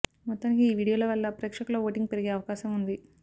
మొత్తానికి ఈ వీడియోల వల్ల ప్రేక్షకుల ఓటింగ్ పెరిగే అవకాశం ఉంది